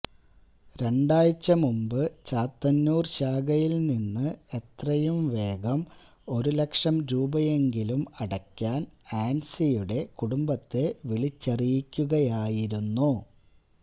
രണ്ടാഴ്ച മുമ്പ് ചാത്തന്നൂര് ശാഖയില് നിന്ന് എത്രയും വേഗം ഒരു ലക്ഷം രൂപയെങ്കിലും അടയ്ക്കാന് ആന്സിയുടെ കുടുംബത്തെ വിളിച്ചറിയിക്കുകയായിരുന്നു